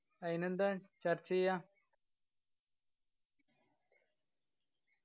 അയിനെന്താ ചർച്ച ചെയ്യാ